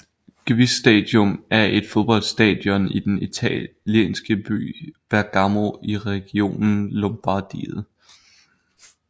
Gewiss Stadium er et fodboldstadion i den italienske by Bergamo i regionen Lombardiet